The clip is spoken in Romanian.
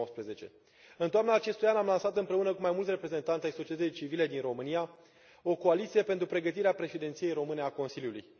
2019. În toamna acestui an, am lansat împreună cu mai mulți reprezentanți ai societății civile din România o coaliție pentru pregătirea președinției române a Consiliului.